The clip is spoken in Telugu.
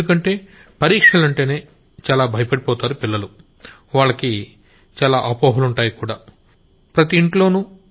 ఎందుకంటే అసలు పరీక్షలంటేనే చాలా భయపడిపోతారు పిల్లలు వాళ్లకి చాలా అపోహలుంటాయా విషయంలో ప్రతి ఇంట్లోనూ